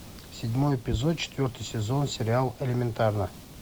седьмой эпизод четвертый сезон сериал элементарно